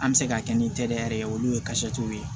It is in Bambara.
An bɛ se ka kɛ ni teliya yɛrɛ ye olu ye ye